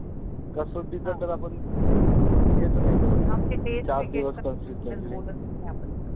बोलतच नाही आपण